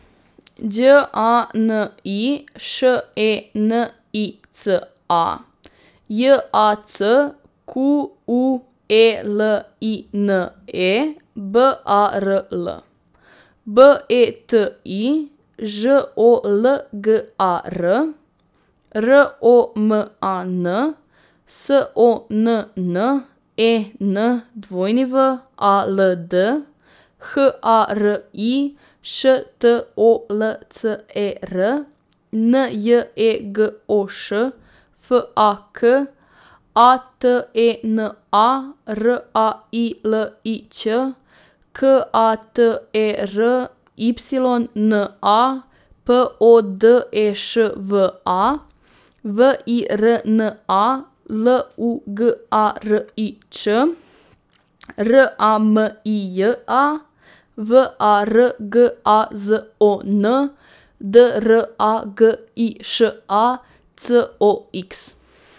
Đ A N I, Š E N I C A; J A C Q U E L I N E, B A R L; B E T I, Ž O L G A R; R O M A N, S O N N E N W A L D; H A R I, Š T O L C E R; N J E G O Š, F A K; A T E N A, R A I L I Ć; K A T E R Y N A, P O D E Š V A; V I R N A, L U G A R I Č; R A M I J A, V A R G A Z O N; D R A G I Š A, C O X.